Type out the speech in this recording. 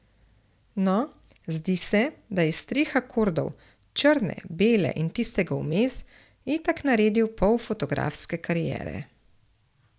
No, zdi se, da je iz treh akordov, črne, bele in tistega vmes, itak naredil pol fotografske kariere.